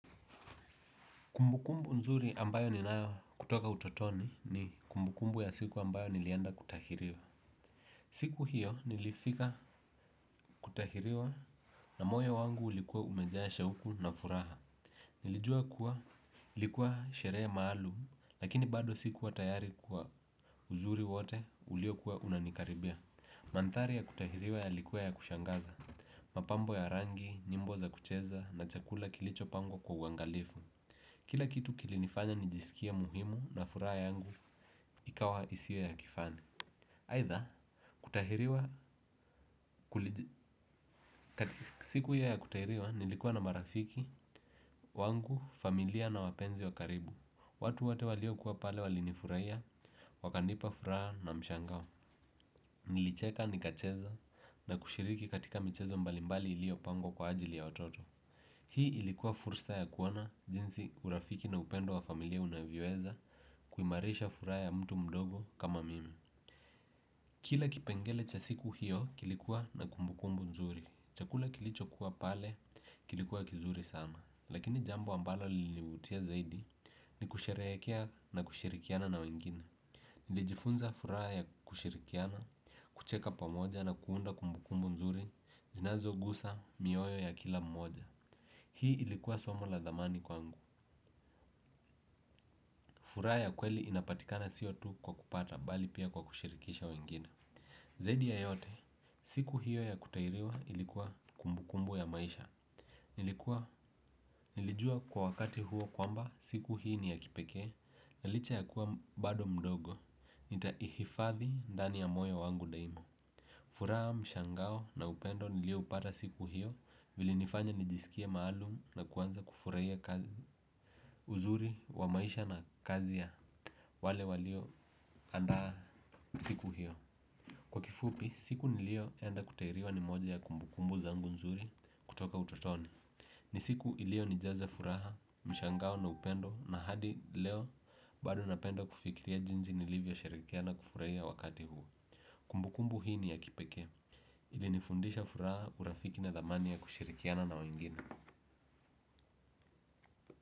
Kumbukumbu nzuri ambayo ninayo kutoka utotoni ni kumbukumbu ya siku ambayo nilienda kutahiriwa. Siku hiyo nilifika kutahiriwa na moyo wangu ulikuwa umejaa shauku na furaha. Nilijua kuwa ilikuwa sherehe maalum lakini bado sikuwa tayari kwa uzuri wote ulio kuwa unanikaribia. Mandhari ya kutahiriwa yalikuwa ya kushangaza. Mapambo ya rangi, nyimbo za kucheza na chakula kilicho pangwa kwa uangalifu. Kila kitu kilinifanya nijisikie muhimu na furaha yangu ikawa isiwe ya kifani. Aidha, siku hiyo ya kutahiriwa nilikuwa na marafiki wangu, familia na wapenzi wa karibu. Watu wote walio kuwa pale walinifurahia, wakanipa furaha na mshangao. Nilicheka nikacheza na kushiriki katika michezo mbalimbali ilio pangwa kwa ajili ya watoto. Hii ilikuwa fursa ya kuoana jinsi urafiki na upendo wa familia unavyoweza kuhimarisha furaha ya mtu mdogo kama mimi. Kila kipengele cha siku hiyo kilikuwa na kumbukumbu nzuri. Chakula kilicho kuwa pale kilikuwa kizuri sana. Lakini jambo ambalo lilinivutia zaidi ni kusherehekea na kushirikiana na wengine. Nilijifunza furaha ya kushirikiana, kucheka pamoja na kuunda kumbukumbu nzuri zinazogusa mioyo ya kila mmoja. Hii ilikuwa somo la dhamani kwangu. Furaha ya kweli inapatikana siyo tu kwa kupata bali pia kwa kushirikisha wengine. Zaidi ya yote, siku hiyo ya kutahiriwa ilikuwa kumbukumbu ya maisha. Nilijua kwa wakati huo kwamba siku hii ni ya kipekee, na licha ya kuwa bado mdogo, nitaihifadhi ndani ya moyo wangu daima. Furaha mshangao na upendo nilio upata siku hiyo vilinifanya nijisikiae maalum na kuanza kufurahia kazi. Uzuri wa maisha na kazi ya. Wale walio andaa siku hiyo kwa kifupi, siku nilioenda kutahiriwa ni moja ya kumbukumbu zangu nzuri kutoka utotoni. Ni siku iliyo nijaza furaha, mshangao na upendo na hadi leo bado napenda kufikiria jinsi nilivyosherehekea na kufurahia wakati huu kumbukumbu hii ni ya kipekee, ilinifundisha furaha, urafiki na dhamani ya kushirikiana na wengine.